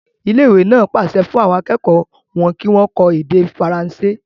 Ilé ìwé náà pàṣẹ fún àwọn akẹ́kọ̀ọ́ wọn kí wọ́n kọ́ èdè faransé.